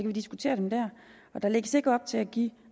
vi diskutere dem der der lægges ikke op til at give